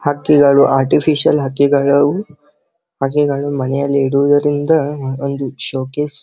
ಹಕ್ಕಿಗಳು ಆರ್ಟಿಫಿಷಿಯಲ್ ಹಕ್ಕಿಗಳು ಹಕ್ಕಿಗಳು ಮನೆಯಲ್ಲಿ ಇಡುವುದರಿಂದ ಒಂದು ಷೋ ಕೇಸ್ --